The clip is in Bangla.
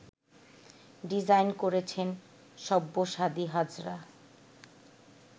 ডিজাইন করেছেন সব্যসাদী হাজরা